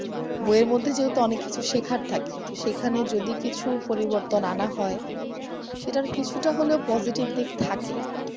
বইয়ের মধ্যে যেহেতু অনেক কিছু শেখার থাকে সেখানে যদি কিছু পরিবর্তন আনা হয় সেটার কিছুটা হয়তো positive দিক থাকে ।